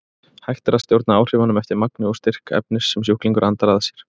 Hægt er að stjórna áhrifunum eftir magni og styrk efnis sem sjúklingur andar að sér.